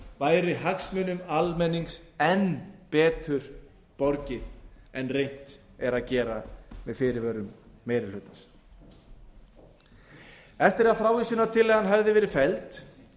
væri hagsmunum almennings enn betur borgið en reynt er að gera með fyrirvörum meiri hlutans eftir að frávísunartillagan hafði verið felld